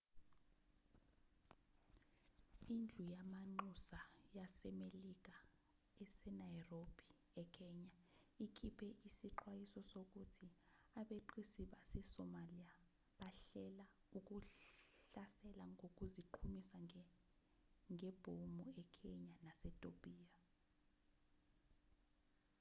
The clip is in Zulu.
indlu yamanxusa yasemelika ese-nairobi ekenya ikhipe isixwayiso sokuthi abeqisi base-somalia bahlela ukuhlasela ngokuziqhumisa ngebhomu ekenya nasetopiya